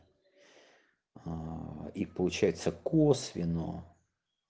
и получается косвенно